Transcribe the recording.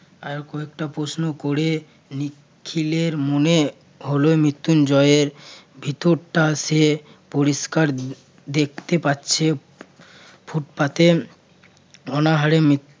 আরো কয়েকটা প্রশ্ন করে উম নিখিলের মনে হলে মৃত্যুঞ্জয়ের ভিতরটা সে পরিষ্কার দেখতে পাচ্ছে ফুটপাতে অনহারে